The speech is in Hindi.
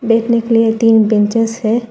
बैठने के लिए तीन बेंचेज हैं।